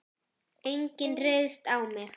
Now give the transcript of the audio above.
Enginn ryðst á mig.